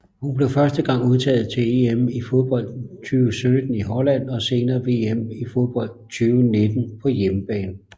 Hun blev første gang udtaget til EM i fodbold 2017 i Holland og senere VM i fodbold 2019 på hjemmebane